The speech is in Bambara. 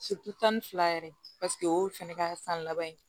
tan ni fila yɛrɛ paseke o ye fɛnɛ ka san laban ye